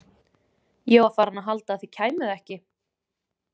Ég var farin að halda að þið kæmuð ekki